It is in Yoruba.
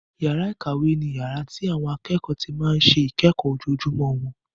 Yàrá ìkàwé ni yàrá tí àwọn akẹ́kọ̀ọ́ ti máa ń ṣe ìkẹ́kọ̀ọ́ ojoojúmọ́ wọn.